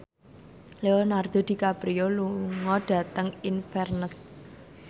Leonardo DiCaprio lunga dhateng Inverness